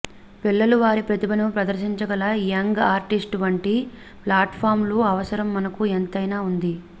పిల్లలు వారి ప్రతిభను ప్రదర్శించగల యంగ్ ఆర్టిస్ట్ వంటి ప్లాట్ఫార్మ్ల అవసరం మనకు ఎంతైనా ఉంది